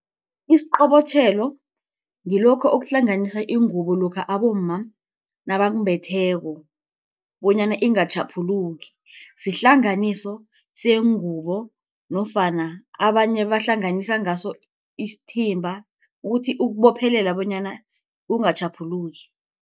Isiqobotjhelo ngilokho okuhlanganisa ingubo lokha abomma nabakumbetheko bonyana ingatjhaphuluki. Sihlanganiso sengubo nofana abanye bahlanganisa ngaso isithimba ukuthi ukubophelela bonyana kungatjhaphuluki